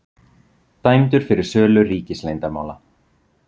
Dæmdur fyrir sölu ríkisleyndarmála